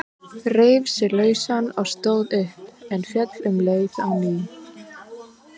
Reif sig lausan og stóð upp, en féll um leið á ný.